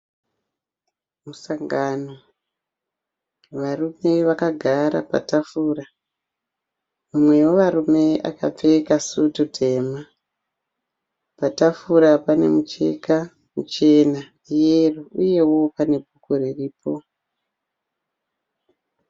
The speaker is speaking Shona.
Musangano varume vakagara patafura umwe wevarume akapfeka sutu tema. Patafura pane mucheka muchena yero uyeo pane bhuku riripo.